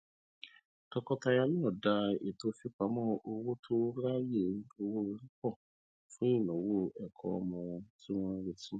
tọkọtaya náà dá ètò fipamọ owó tó ráyè owóori pọ fún ináwó ẹkọ ọmọ tí wọn ń retí